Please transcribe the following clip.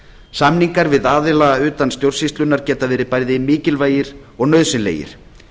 samningar við aðila utan stjórnsýslunnar geta verið bæði mikilvægir og nauðsynlegir